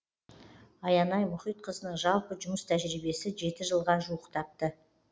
аянай мұхитқызының жалпы жұмыс тәжірибесі жеті жылға жуықтапты